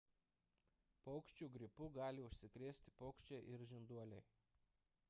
paukščių gripu gali užsikrėsti paukščiai ir žinduoliai